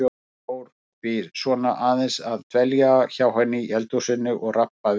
Ég fór því svona aðeins að dvelja hjá henni í eldhúsinu og rabba við hana.